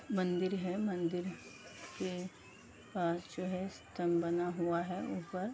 मंदिर है। मंदिर के पास जो है स्तंभ बना हुआ है ऊपर।